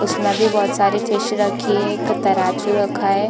उस में भी बहुत सारी फिश रखी है एक तराजू रखा है।